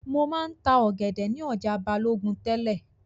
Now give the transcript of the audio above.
Mo máa ń ta ọ̀gẹ̀dẹ̀ ni ọjà Balogun tẹ́lẹ̀